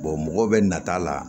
mɔgɔw bɛ nata la